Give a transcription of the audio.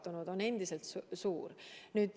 See hulk on endiselt suur.